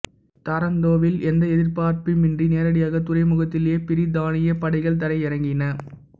தராந்தோவில் எந்த எதிர்ப்புமின்றி நேரடியாகத் துறைமுகத்திலேயே பிரித்தானியப் படைகள் தரையிறங்கின